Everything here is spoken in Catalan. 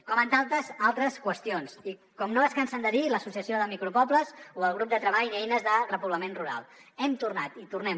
com en tantes altres qüestions i com no es cansen de dir a l’associació de micro pobles o al grup de treball eines de repoblament rural hem tornat i tornem